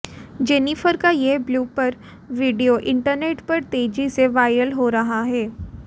Jennifer का यह blooper video internet पर तेजी से वायरल हो रहा है